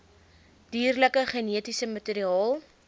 dierlike genetiese materiaal